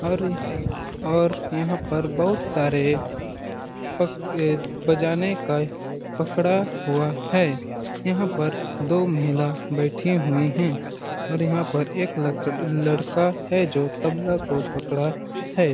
औरऔर यहाँ पर बहुत सारे पक बजाने का ये पकड़ा हुआ है यहाँ पर दो महिला बैठे हुए है और यहाँ पर एक लक लड़का है जो तबला को पकड़ा हैं ।